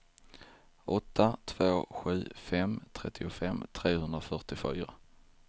åtta två sju fem trettiofem trehundrafyrtiofyra